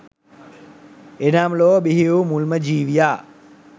එනම් ලොව බිහි වූ මුල්ම ජීවියා